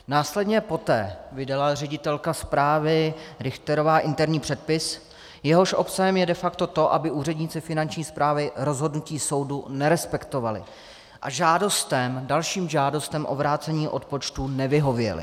Následně poté vydala ředitelka správy Richterová interní předpis, jehož obsahem je de facto to, aby úředníci Finanční správy rozhodnutí soudu nerespektovali a žádostem, dalším žádostem o vrácení odpočtů nevyhověli.